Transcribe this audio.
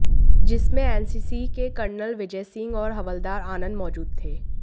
जिसमें एनसीसी के कर्नल विजय सिंह और हवलदार आनंद मौजूद थे